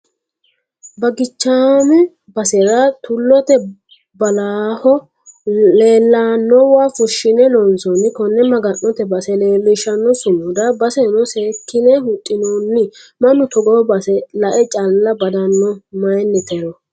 Bagichame basera tulote baallaho leellanowa fushshine loonsoni kone maga'note base leelishano sumuda baseno seekkine huxinonnj mannu togo base lae calla badano mayinitero.